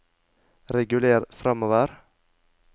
reguler framover